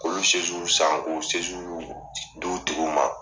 K'olu san k'o di u tigiw ma.